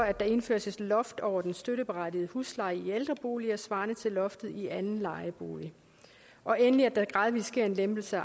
indføres et loft over den støtteberettigede husleje i ældreboliger svarende til loftet i anden lejebolig og endelig at der gradvist sker en lempelse